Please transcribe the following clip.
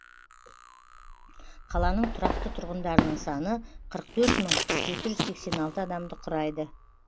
қаланың тұрақты тұрғындарының саны қырық төрт мың жеті жүз сексен алты адамды құрайды